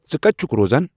ژٕ کَتہِ چھُکھ روزان